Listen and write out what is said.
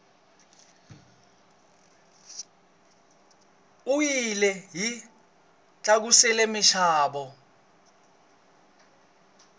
oyili yi tlakusile minxavo